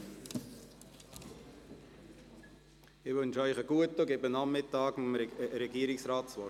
Ich wünsche ihnen einen guten Appetit und gebe nach der Mittagspause dem Regierungsrat das Wort.